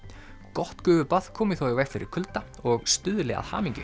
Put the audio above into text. gott gufubað komi þó í veg fyrir kulda og stuðli að hamingju